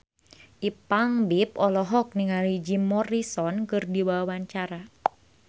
Ipank BIP olohok ningali Jim Morrison keur diwawancara